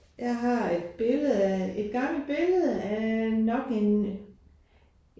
Jeg har et billede af et gammelt billede af nok en